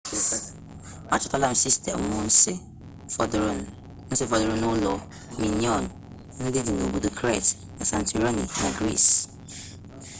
a chọtala sistemu nsi fọdụrụnụ n'ụlọ minoan ndị dị n'obodo crete na santorini na greece